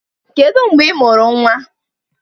Kedu mgbe ị mụrụ nnwa?